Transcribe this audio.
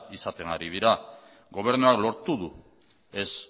izaten ari dira gobernuak lortu du ez